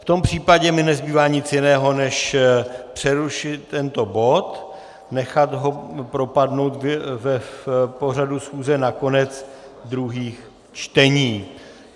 V tom případě mi nezbývá nic jiného, než přerušit tento bod, nechat ho propadnout v pořadu schůze na konec druhých čtení.